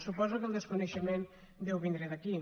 suposo que el desconeixement deu vindre d’aquí